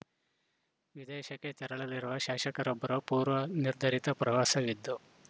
ವಿದೇಶಕ್ಕೆ ತೆರಳಲಿರುವ ಶಾಸಕರೊಬ್ಬರು ಪೂರ್ವ ನಿರ್ಧರಿತ ಪ್ರವಾಸವಿದು